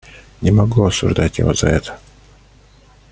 не могу осуждать его за это